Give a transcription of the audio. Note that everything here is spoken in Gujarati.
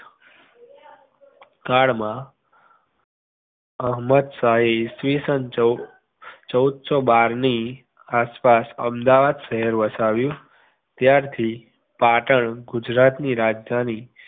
કાળ માં અહેમદ શાહ એ ચૌદસો બારની આસ પાસ અમદાવાદ શહેર વસાવ્યુ ત્યારથી પાટણ ગુજરાતની રાજધાની